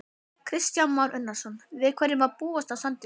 Kristján Már Unnarsson: Við hverju má búast á sandinum?